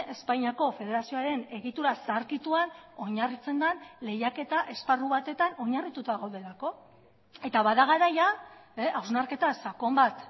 espainiako federazioaren egitura zaharkituan oinarritzen den lehiaketa esparru batetan oinarrituta gaudelako eta bada garaia hausnarketa sakon bat